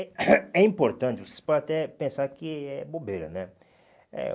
É importante, vocês pode até pensar que é bobeira, né?